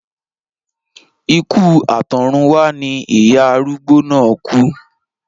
Ikú àtọ̀runwá ni ìyá arúgbó náà kú